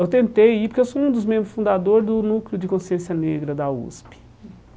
Eu tentei ir porque eu sou um dos membros fundadores do Núcleo de Consciência Negra, da USP.